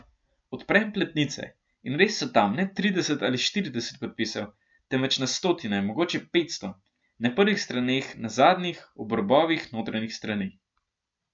Odprem platnice in res so tam, ne trideset ali štirideset podpisov, temveč na stotine, mogoče petsto, na prvih straneh, na zadnjih, ob robovih notranjih strani.